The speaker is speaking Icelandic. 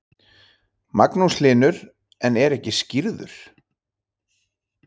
Magnús Hlynur: En er ekki skírður?